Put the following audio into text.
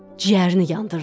Ciyərini yandırdın.